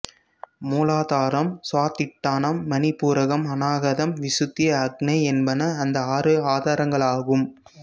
மூலாதாரம் சுவாதிட்டானம் மணிபூரகம் அநாகதம் விசுத்தி ஆக்ஞை என்பன அந்த ஆறு ஆதாரங்களாகும்